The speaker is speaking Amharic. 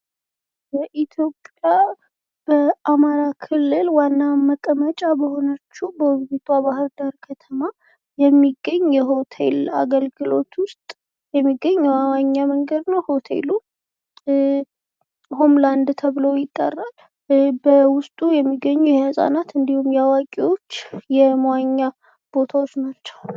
በኢትዮጵያ በአማራ ክልል ዋና መቀመጫ በሆነችው በዉቢቷ ባህርዳር ከተማ የሚገኝ የሆቴል አገልግሎት ውስጥ የሚገኝ መንገድ ነው ሆቴሉ ሆምላንድ ተብሎ ይጠራል። በውስጡ የሚገኙ የህጻናት እንዲሁም ያዋቂዎች የመዋኛ ቦታወች ናቸው።